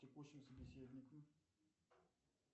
текущим собеседником